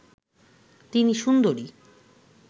তিনি সুন্দরী